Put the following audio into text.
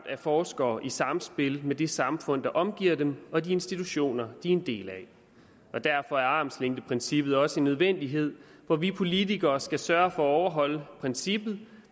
af forskere i samspil med det samfund der omgiver dem og de institutioner er en del af og derfor er armslængdeprincippet også en nødvendighed for vi politikere skal sørge for at overholde princippet